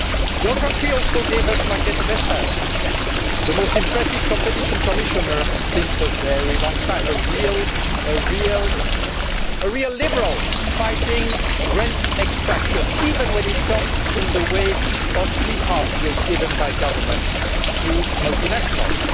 Your country also gave us Margrethe Vestager, the most impressive Competition Commissioner for a very long time, a real liberal fighting rent extraction, even when it gets in the way of sweetheart deals given by governments to multinationals.